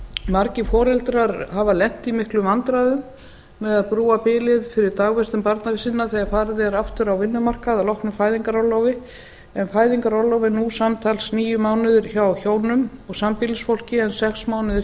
margir foreldrar hafa lent í miklum vandræðum með að brúa bilið fyrir dagvistun barna sinna þegar farið er aftur á vinnumarkað að loknu fæðingarorlofi en fæðingarorlof er nú samtals níu mánuðir hjá hjónum og sambýlisfólki en sex mánuðir hjá